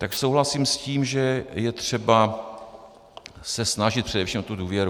Tak souhlasím s tím, že je třeba se snažit především o tu důvěru.